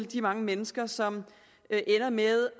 de mange mennesker som ender med